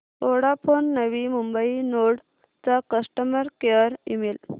Vodafone Navi Mumbai node चा customer care email